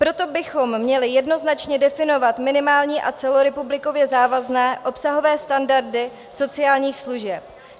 Proto bychom měli jednoznačně definovat minimální a celorepublikově závazné obsahové standardy sociálních služeb.